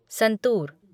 santoor